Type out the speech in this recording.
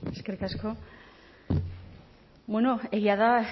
eskerrik asko bueno egia da